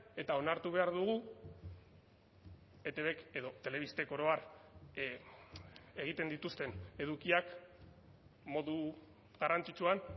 eta onartu behar dugu etbk edo telebistek oro har egiten dituzten edukiak modu garrantzitsuan